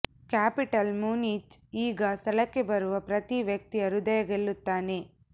capital Munich ಈ ಸ್ಥಳಕ್ಕೆ ಬರುವ ಪ್ರತಿ ವ್ಯಕ್ತಿಯ ಹೃದಯ ಗೆಲ್ಲುತ್ತಾನೆ